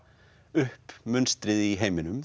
upp munstrið í heiminum